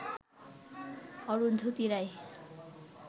Arundhati Roy